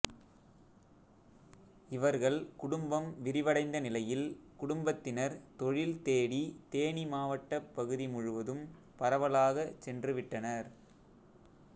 இவர்கள் குடும்பம் விரிவடைந்த நிலையில் குடும்பத்தினர் தொழில் தேடி தேனி மாவட்டப் பகுதி முழுவதும் பரவலாகச் சென்று விட்டனர்